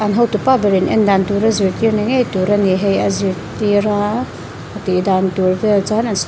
an hotupa berin en dan tur a zirtir ni ngei tur a ni hei a zirtir a a tih dan tur vel chuan an--